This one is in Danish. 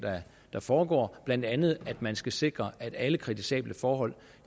der foregår blandt andet at man skal sikre at alle kritisable forhold